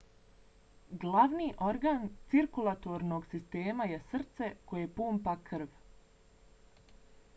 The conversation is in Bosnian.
glavni organ cirkulatornog sistema je srce koje pumpa krv